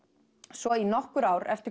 svo í nokkur ár eftir